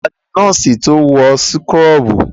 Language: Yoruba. Ta ni nọ́ọ́sì to wọ súkúrọ́bù?